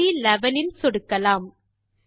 செல் சி11 இல் சொடுக்கலாம்